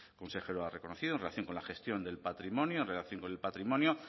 consejero ha reconocido en relación con la gestión del patrimonio en relación con el patrimonio